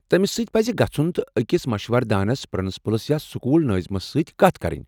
تمِس سٕتۍ پٕزِ گژُھن تہٕ اکس مشورٕ دانس ، پرنسپلس، یا سکول نٲظِمس سۭتۍ کتھ کرٕنۍ۔